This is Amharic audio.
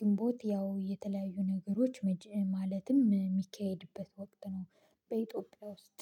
ግንቦት ያው የተለያዩ ነገሮች ማለትም የሚካሄድበት ወቅት ነው። በኢትዮጵያ ውስጥ